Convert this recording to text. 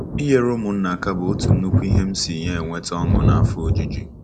Inyere ụmụnna aka bụ otu nnukwu isi ihe m si ya enweta ọṅụ na afọ ojuju!